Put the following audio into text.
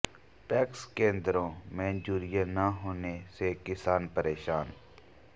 PACS केंद्रों में urea न होने से किसान परेशान